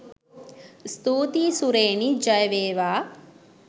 ස්තුතියි සුරේනි ජය වේවා!